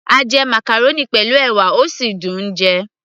a jẹ màcàrónì pẹ̀lú ẹ̀wà, ó sì dùn -un jẹ